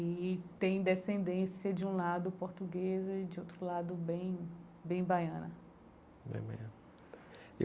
E tem descendência de um lado portuguesa e de outro lado bem bem baiana.